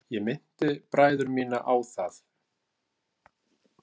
Ég minnti bræður mína á það.